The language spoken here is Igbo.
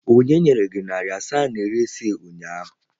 Onye nyere gị narị naira asaa na iri isii ụnyaahụ?